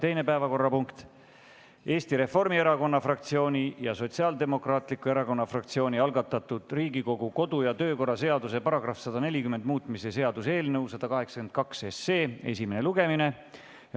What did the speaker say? Teine päevakorrapunkt on Eesti Reformierakonna fraktsiooni ja Sotsiaaldemokraatliku Erakonna fraktsiooni algatatud Riigikogu kodu- ja töökorra seaduse § 140 muutmise seaduse eelnõu 182 esimene lugemine.